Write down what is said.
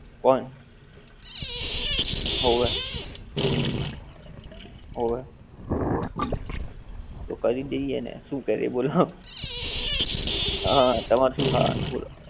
કોણ? હોવે. હોવે. તો કરી દઈએ ને. શું કરીએ બોલો? હં તમારે શું ખાવાનું બોલો.